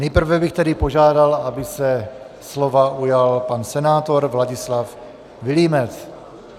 Nejprve bych tedy požádal, aby se slova ujal pan senátor Vladislav Vilímec.